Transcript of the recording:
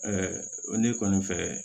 ne kɔni fɛ